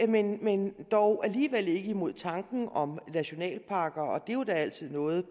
venlig men dog alligevel ikke imod tanken om nationalparker og det er jo altid noget